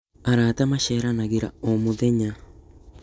Arata maceranagĩra o mũthenya